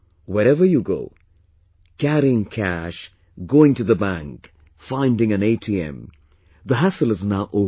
Wherever you go... carrying cash, going to the bank, finding an ATM... the hassle is now over